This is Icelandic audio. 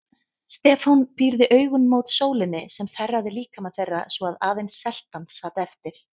Stefán pírði augun mót sólinni sem þerraði líkama þeirra svo að aðeins seltan sat eftir.